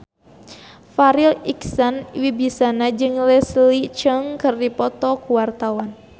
Farri Icksan Wibisana jeung Leslie Cheung keur dipoto ku wartawan